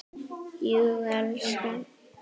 Jú, elskan.